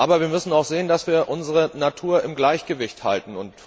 Aber wir müssen auch sehen, dass wir unsere Natur im Gleichgewicht halten.